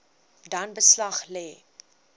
dan beslag lê